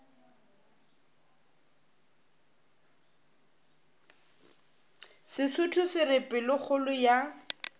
sesotho se re pelokgolo ya